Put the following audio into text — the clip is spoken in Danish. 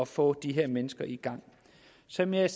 få de her mennesker i gang som jeg